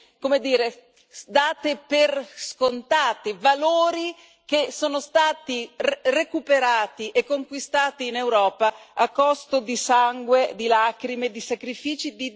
come dire, date per scontate, e dei valori che sono stati recuperati e conquistati in Europa a costo di sangue, di lacrime e di sacrifici.